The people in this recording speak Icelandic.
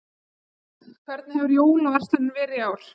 Frank, hvernig hefur jólaverslunin verið í ár?